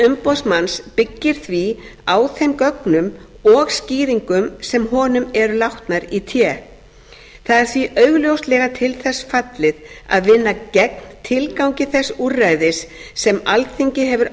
umboðsmanns byggir því á þeim gögnum og skýringum sem honum eru látnar í té það er því augljóslega til þess fallið að vinna gegn tilgangi þess úrræðis sem alþingi hefur